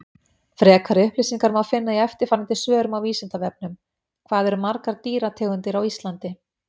Frekari upplýsingar má finna í eftirfarandi svörum á Vísindavefnum: Hvað eru margar dýrategundir á Íslandi?